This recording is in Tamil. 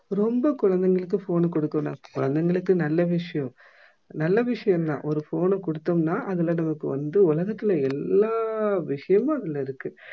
ரொம்ப குழந்தைகளுக்கு phone அ குடுக்க வேணாம் குழந்தைகளுக்கு நல்ல விஷயம் நல்ல விஷயம் தான் ஒரு phone அ குடுத்தோம்னா அதுல நமக்கு வந்து உலகத்தில எல்லா விஷயமும் அதுல இருக்கு